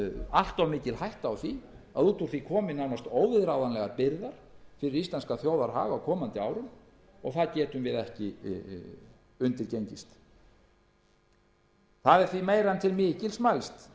allt of mikil hætta á því að út úr því komi nánast óviðráðanlegar byrðar fyrir íslenskan þjóðarhag á komandi árum og það getum við ekki undirgengist það er því meira en til mikils mælst